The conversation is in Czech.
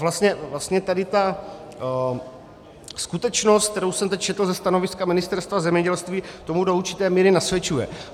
Vlastně tady ta skutečnost, kterou jsem teď četl ze stanoviska Ministerstva zemědělství, tomu do určité míry nasvědčuje.